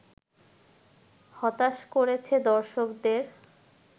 হতাশ করেছে দর্শকদের